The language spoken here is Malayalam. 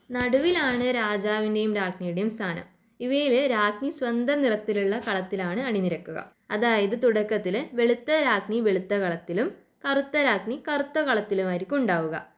നടുവിലാണ് രാജാവിൻ്റെയും രാജ്ഞിയുടെയും സ്ഥാനം. ഇവയില് രാജ്ഞി സ്വന്തം നിറത്തിലുള്ള കളത്തിലാണ് അണിനിരക്കുക അതായത് തുടക്കത്തില് വെളുത്ത രാജ്ഞി വെളുത്ത കളത്തിലും കറുത്ത രാജ്ഞി കറുത്ത കളത്തിലുമായിരിക്കും ഉണ്ടാവുക.